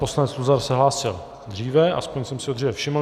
Poslanec Luzar se hlásil dříve, aspoň jsem si ho dříve všiml.